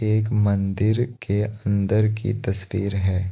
एक मंदिर के अंदर की तस्वीर है।